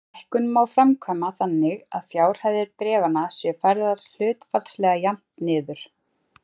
Lækkun má framkvæma þannig að fjárhæðir bréfanna séu færðar hlutfallslega jafnt niður.